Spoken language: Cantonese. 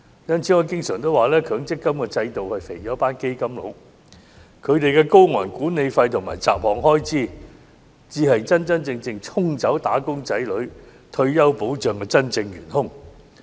因此，我常說強積金制度是肥了"基金佬"，他們的高昂管理費和雜項開支才是沖走"打工仔女"退休保障的真正元兇。